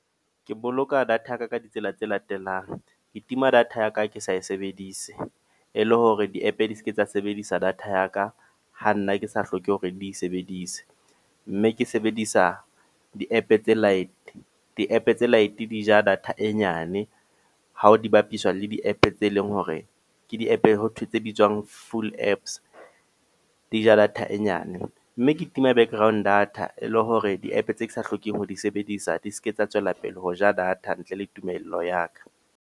Ke boloka data ya ka ka ditsela tse latelang. Ke tima data ya ka ha ke sa e sebedise. E le hore di-app di seke tsa sebedisa data ya ka, ha nna ke sa hloke hore di sebedise. Mme ke sebedisa di-app tse light, di-app tse light e di ja data e nyane hao di bapiswa le di-app tse leng hore ke di-app ho thwe tse bitswang full apps, di ja data e nyane. Mme ke tima background data e le hore di-app tse ke sa hlokeng ho di sebedisa di seke tsa tswelapele ho ja data ntle le tumello ya ka.